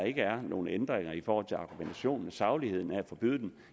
ikke er nogen ændringer i forhold til argumentationen og sagligheden af at forbyde dem